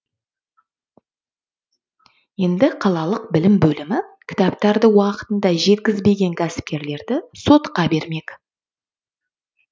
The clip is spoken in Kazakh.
енді қалалық білім бөлімі кітаптарды уақытында жеткізбеген кәсіпкерлерді сотқа бермек